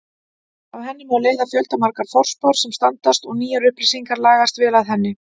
Af henni má leiða fjöldamargar forspár sem standast og nýjar upplýsingar lagast vel að henni.